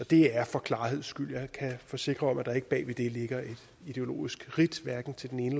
det er for klarheds skyld jeg kan forsikre om at der ikke bag ved det ligger et ideologisk ridt hverken til den ene